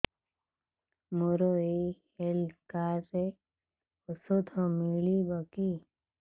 ମୋର ଏଇ health card ରେ ଔଷଧ ମିଳିବ କି